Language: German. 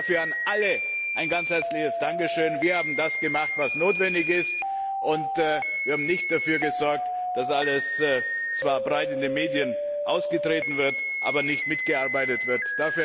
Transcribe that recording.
Dafür an alle ein ganz herzliches Dankeschön! Wir haben das getan, was notwendig ist, und wir haben nicht dafür gesorgt, dass alles zwar breit in den Medien ausgetreten wird, aber nicht mitgearbeitet wird.